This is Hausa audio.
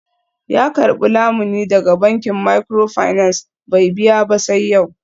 Ya karbi lamuni daga bankin microfinance bai biya ba sai yau.